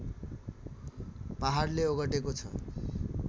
पहाडले ओगटेको छ